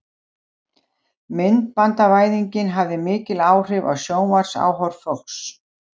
myndbandavæðingin hafði mikil áhrif á sjónvarpsáhorf fólks